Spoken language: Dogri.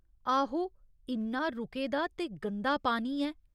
आहो, इन्ना रुके दा ते गंदा पानी ऐ।